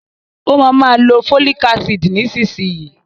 Ó ma ma lo fólìk ácìdì nísinsìnyí